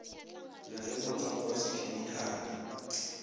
na le motswako wa sekhemikhale